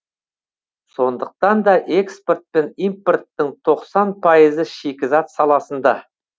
сондықтан да экспорт пен импорттың тоқсан пайызы шикізат саласында